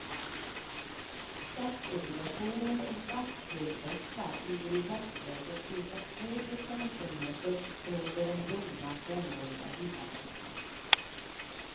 Statsobligationer och statsskuldväxlar ligger i dagsläget cirka två procentenheter under den bundna femåriga villaräntan.